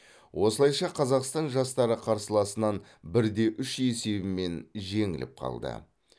осылайша қазақстан жастары қарсыласынан бір де үш есебімен жеңіліп қалды